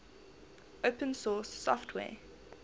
open source software